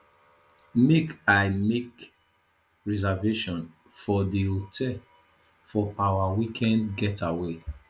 make i make reservation for di hotel for our weekend getaway